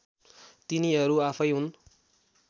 तिनीहरू आफैँ हुन्